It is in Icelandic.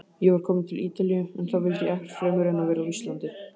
Ég var kominn til Ítalíu- en þá vildi ég ekkert fremur en vera á Íslandi.